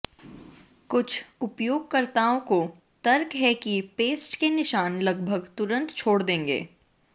कुछ उपयोगकर्ताओं का तर्क है कि पेस्ट के निशान लगभग तुरन्त छोड़ देंगे